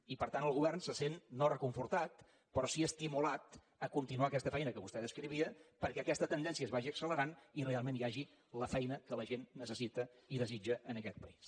i per tant el govern se sent no reconfortat però sí estimulat a continuar aquesta feina que vostè descrivia perquè aquesta tendència es vagi accelerant i realment hi hagi la feina que la gent necessita i desitja en aquest país